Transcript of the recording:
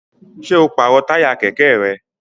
Ṣé o pàrọ̀ táyà kẹ̀kẹ́ rẹ?